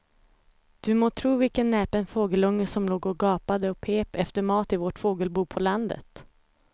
Du må tro vilken näpen fågelunge som låg och gapade och pep efter mat i vårt fågelbo på landet.